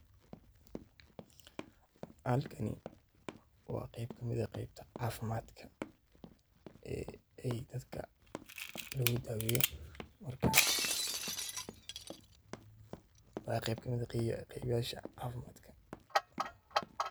Halkani wa geb kamid ah gebta cafimadka ee dadka lagudaweyo, marka wa geb kamid ah gebyadha cafimadka.